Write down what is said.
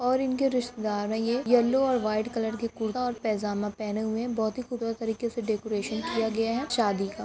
ओर ये इनके रिश्तेदार है ये यल्लो और वाईट कलर के कुरता और पेंजामा पहने हुए है बहुत ही खूबसूरत तरीके से डेकोरेशन किया गया हेशादी का|